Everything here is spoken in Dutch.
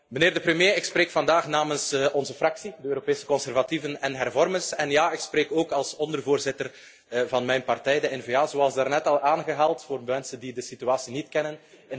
Meneer de premier, ik spreek vandaag namens onze fractie, de Europese conservatieven en hervormers. En ja, ik spreek ook als ondervoorzitter van mijn partij, de N VA, zoals daarnet al aangehaald voor de mensen die de situatie niet kennen.